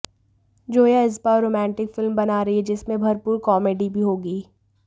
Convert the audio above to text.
जोया इस बार romantic film बना रही हैं जिसमें भरपूर कॉमेडी भी होगी